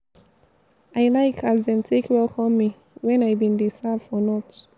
i like as dem take welcome me wen i bin dey serve for north.